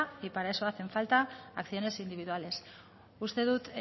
y para eso hacen falta acciones individuales uste dut